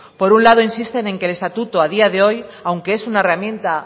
por un lado insisten en que el estatuto a día de hoy aunque es una herramienta